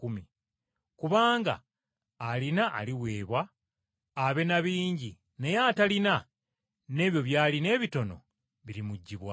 Kubanga alina aliweebwa abe na bingi naye atalina, n’ebyo by’alina ebitono birimuggyibwako.